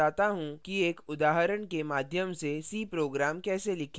मैं आपको बताता how कि एक उदाहरण के माध्यम से c program कैसे लिखें